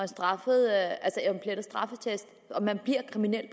straffeattest og man bliver kriminel